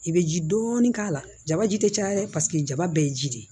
I bɛ ji dɔɔni k'a la jabaji tɛ caya dɛ paseke jaba bɛɛ ye ji de ye